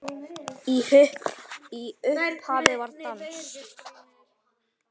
Í upphafi var dans.